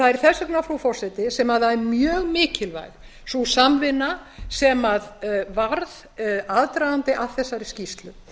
það er þess vegna frú forseti sem það er mjög mikilvægt sú samvinna sem varð aðdragandi að þessari skýrslu